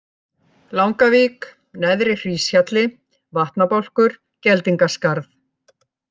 Langavík, Neðri-Hríshjalli, Vatnabálkur, Geldingaskarð